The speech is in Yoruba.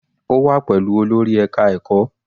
Ó wà pẹ̀lú olórí ẹka ẹ̀kọ́.